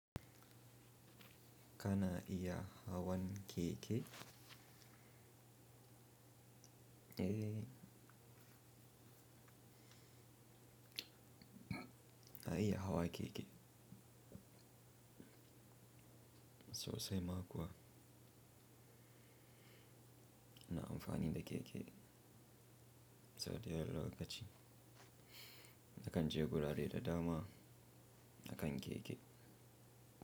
Kana iya hawan keke? Eh. Na iya hawa keke. So sai ma kuwa ina amfani da keke? So dayawan lokacin. Na kan je gurare da dama a kan keke.